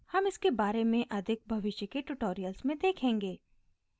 हम इसके बारे में अधिक भविष्य के ट्यूटोरियल्स में देखेंगे